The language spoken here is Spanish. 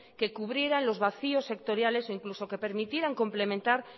que cubrieran los vacíos sectoriales e incluso que permitieran complementar